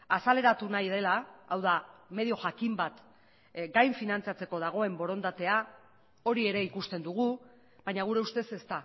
azaleratu nahi dela hau da medio jakin bat gain finantzatzeko dagoen borondatea hori ere ikusten dugu baina gure ustez ez